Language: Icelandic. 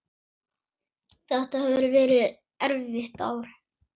Þetta hefur verið erfitt ár.